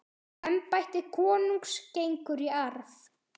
Embætti konungs gengur í arf.